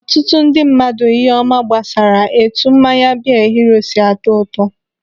Ọtụtụ ndị mmadụ ihe ọma gbasara etu mmanya biya hero si na-atọ ụtọ.